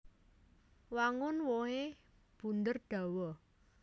Wangun wohé bunder dawa